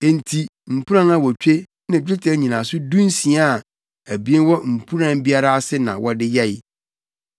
Enti mpuran awotwe ne dwetɛ nnyinaso dunsia a abien wɔ mpuran biara ase na wɔde yɛe.